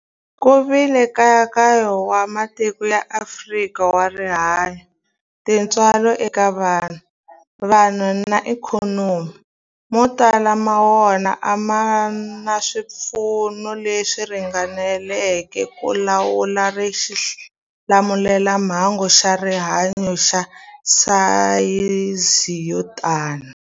Ku vile nkayakayo wa matiko ya Afrika wa rihanyu, tintswalo eka vanhu, vanhu na ikhonomi, mo tala ma wona a ma na swipfuno leswi ringaneleke ku lawula xilamulelamhangu xa rihanyu xa sayizi yo tani.